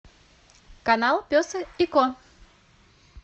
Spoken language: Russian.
канал пес и ко